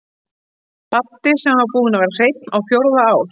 Baddi sem búinn var að vera hreinn á fjórða ár.